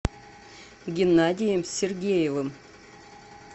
геннадием сергеевым